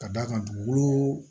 Ka d'a kan dugukolo